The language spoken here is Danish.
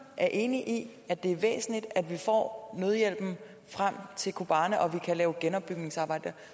er enig i at det er væsentligt at vi får nødhjælpen frem til kobane og at vi kan lave genopbygningsarbejde